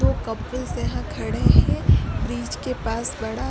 दो कपल्स यहां खड़े हैं ब्रिज के पास बड़ा।